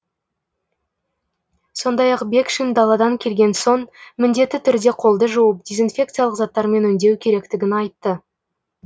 сондай ақ бекшин даладан келген соң міндетті түрде қолды жуып дезинфекциялық заттармен өңдеу керектігін айтты